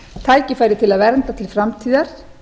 tækifæri til að vernda til framtíðar